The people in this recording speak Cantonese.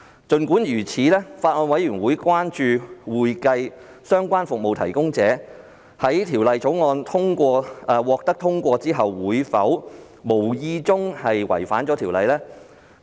儘管如此，法案委員會關注會計相關服務提供者會否在《條例草案》獲通過後無意中違反《條例》。